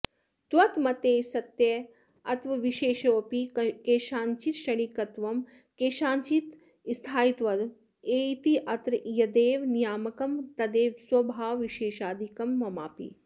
त्वन्मते सत्यत्वाविशेषेऽपि केषाञ्चित् क्षणिकत्वं केषाञ्चित् स्थायित्वम् इत्यत्र यदेव नियामकं तदेव स्वभावविशेषादिकं ममापि